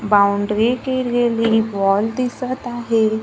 Boundary केलेली ball दिसत आहे.